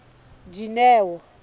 dineo